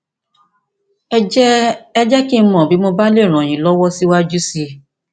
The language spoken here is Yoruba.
ẹ jẹ ẹ jẹ kí n mọ bí mo bá lè ràn yín lọwọ síwájú sí i